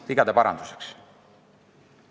Jah, neid on ka varem suletud, aga mitte sellises tempos.